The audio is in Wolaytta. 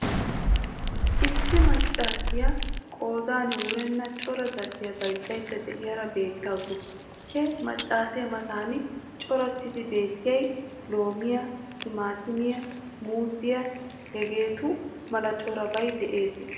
Issi maccaasiya qoodin wurenna cora zal"iya bayzzaydda de'iyara beettawusu. He maccaasee matan corattidi beettiyay loomiy, timaatimiya, muuziya, hegeetu mala corabay de'ees.